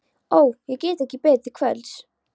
Ó, ég get ekki beðið til kvölds.